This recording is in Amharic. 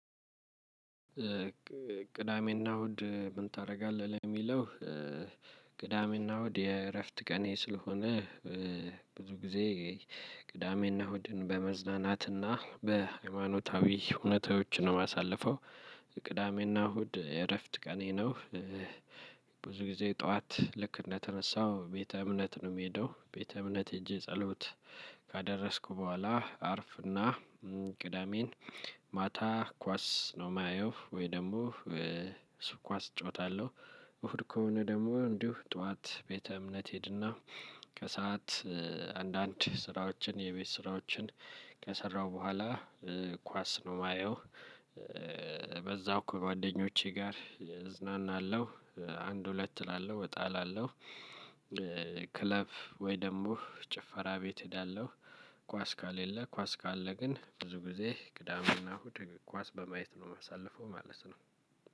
ቅዳሜና እሁድ ምን ታደርጋለህ ለሚለው? ቅዳሜና እሁድ የእረፍት ቀኔ ስለሆነ ብዙ ጊዜ ቅዳሜና እሁድን በመዝናናትና በሃይማኖታዊ ሁኔታዎችን ነው የማሳልፈው። ቅዳሜና እሁድ የእረፍት ቀኔ ነው። ብዙ ጊዜ ጠዋት ልክ እንደተነሳው ቤተ እምነት ነው የምሄደው ቤተ እምነት ሄጄ ጸሎት ካደረስኩ በኋላ አርፍና። ቅዳሜን ማታ ኳስ ነው የማየው ወይ ደግሞ ሱቅ ኳስ እጫወታለሁ። እሁድ ከሆነ ደግሞ እንዲሁ ጠዋት ቤተ እምነት ሄድና ከሰአት አንዳንድ ስራዎችን የቤት ስራዎችን ከሰራው በኋላ ኳስ ነው የማየው። በዛው ከጓደኞቼ ጋር እዝናናለሁ። አንድ ሁለት እላለሁ እጣ እላለሁ። ክለብ ወይ ደግሞ ጭፈራ ቤት እሄዳለሁ። ኳስ ካሌለ ኳስ ካለ ግን ብዙ ጊዜ ቅዳም እና እሁድ ኳስ በማየት ነው የማሳልፈው ማለት ነው።